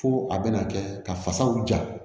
Fo a bɛna kɛ ka fasaw ja